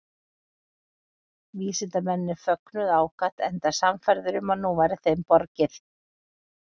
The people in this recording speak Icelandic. Vísindamennirnir fögnuðu ákaft enda sannfærðir um að nú væri þeim borgið.